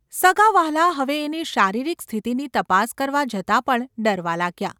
સગાંવહાલાં હવે એની શારીરિક સ્થિતિની તપાસ કરવા જતાં પણ ડરવા લાગ્યાં.